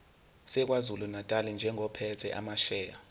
sakwazulunatali njengophethe amasheya